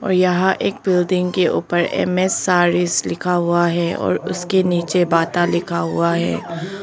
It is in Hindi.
और यहां एक बिल्डिंग के ऊपर एम_एस सारीज लिखा हुआ है और उसके नीचे बाटा लिखा हुआ है।